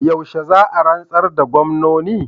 Yaushe za a rantsar da gwamnoni?